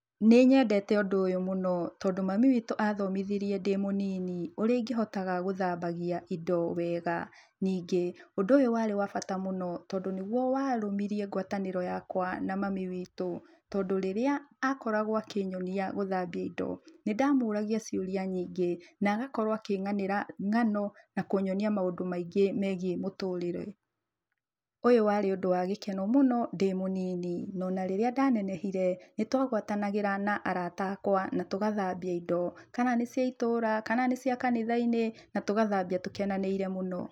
Nĩ nyendete ũndũ ũyũ mũno, tondũ mami witũ athomithirie ndĩmũnini ũrĩa ingĩhotaga gũthambagia indo wega, ningĩ ũndũ ũyũ warĩ wa bata mũno tondũ nĩguo warũmirie ngwatanĩro yakwa na mami witũ, tondũ rĩrĩa akoragwo akĩnyonia gũthambia indo, nĩ ndamũragia ciũria nyingĩ na agakorwo akĩng'anĩra ng'ano na kũnyonia maũndũ maingĩ megiĩ mũtũrĩre. Ũyũ warĩ ũndũ wa gĩkeno mũno ndĩ mũnini, na onarĩrĩa ndanenehire, nĩ twagwatanagĩra na arata akwa na tũgathambia indo. Kana nĩ cia itũra, kana nĩ cia kanitha-inĩ na tũgathambia tũkenanĩire mũno.